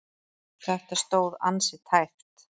Þetta stóð ansi tæpt.